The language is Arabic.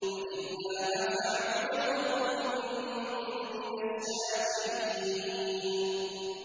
بَلِ اللَّهَ فَاعْبُدْ وَكُن مِّنَ الشَّاكِرِينَ